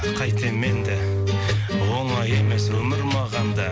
қайтем енді оңай емес өмір маған да